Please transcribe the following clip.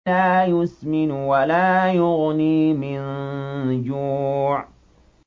لَّا يُسْمِنُ وَلَا يُغْنِي مِن جُوعٍ